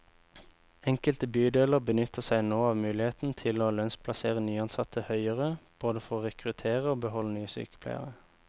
Enkelte bydeler benytter seg nå av muligheten til å lønnsplassere nyansatte høyere, både for å rekruttere og beholde nye sykepleiere.